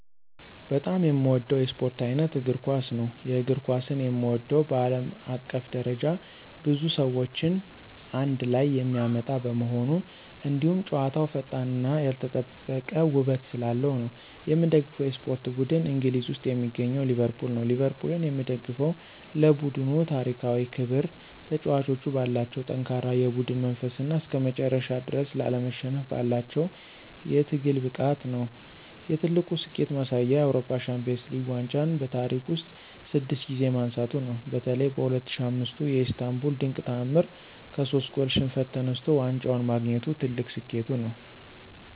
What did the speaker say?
በጣም የምወደው የስፖርት ዓይነት እግር ኳስ ነው። የእግር ኳስን የምወደው በዓለም አቀፍ ደረጃ ብዙ ሰዎችን አንድ ላይ የሚያመጣ በመሆኑ፣ እንዲሁም ጨዋታው ፈጣንነትና ያልተጠበቀ ውበት ስላለው ነው። የምደግፈው የስፖርት ቡድን እንግሊዝ ውስጥ የሚገኘው ሊቨርፑል ነው። ሊቨርፑልን የምደግፈው ለቡድኑ ታሪካዊ ክብር፣ ተጫዋቾቹ ባላቸው ጠንካራ የቡድን መንፈስና እስከመጨረሻው ድረስ ላለመሸነፍ ባላቸው የትግል ብቃት ነው። የትልቁ ስኬቱ ማሳያ የአውሮፓ ሻምፒዮንስ ሊግ ዋንጫን በታሪክ ውስጥ ስድስት ጊዜ ማንሳቱ ነው። በተለይ በ2005ቱ የኢስታንቡል ድንቅ ተዓምር ከሶስት ጎል ሽንፈት ተነስቶ ዋንጫውን ማግኘቱ ትልቁ ስኬቱ ነው።